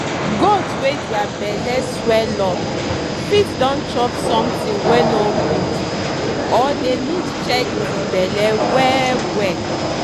goat wey dere belle swell up fit don chop sometin wey no good or dey need check di belle well well.